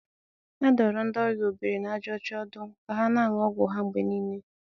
A dụrụ ndị ọrịa obiri na aja ocha ọdụ ka ha na-aṅụ ọgwụ ha mgbe niile.